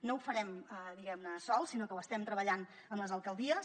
no ho farem sols diguem ne sinó que ho estem treballant amb les alcaldies